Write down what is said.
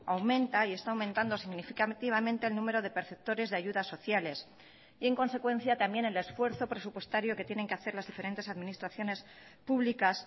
aumenta y está aumentando significativamente el número de perceptores de ayudas sociales y en consecuencia también el esfuerzo presupuestario que tienen que hacer las diferentes administraciones públicas